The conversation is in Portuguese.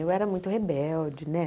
Eu era muito rebelde, né?